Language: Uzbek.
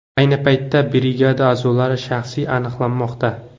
Ayni paytda brigada a’zolari shaxsi aniqlanmoqda.